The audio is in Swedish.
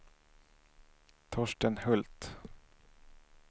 Torsten Hult